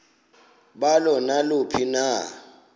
balo naluphi na